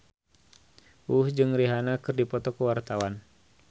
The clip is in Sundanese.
Uus jeung Rihanna keur dipoto ku wartawan